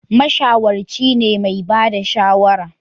Mashawarci ne mai ba da shawara